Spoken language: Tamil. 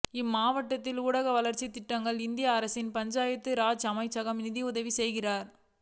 இம்மாவட்டத்தின் ஊரக வளர்ச்சித் திட்டங்களுக்கு இந்திய அரசின் பஞ்சாயத்து ராஜ் அமைச்சகம் நிதியுதவி செய்கிறது